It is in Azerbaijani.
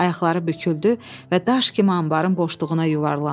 Ayaqları büküldü və daş kimi anbarın boşluğuna yuvarlandı.